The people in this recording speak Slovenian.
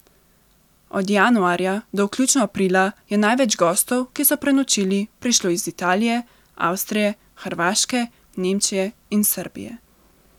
Od januarja do vključno aprila je največ gostov, ki so prenočili, prišlo iz Italije, Avstrije, Hrvaške, Nemčije in Srbije.